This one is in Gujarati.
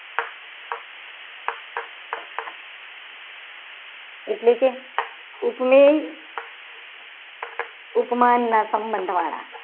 એટલે કે ઉપમેય ઉપમાનના સંબંધવાળા